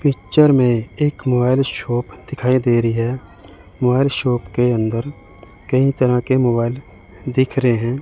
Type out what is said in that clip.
Picture में एक mobile shop दिखाई दे रही है मोबाइल शॉप के अंदर कई तरह के मोबाइल दिख रहे हैं।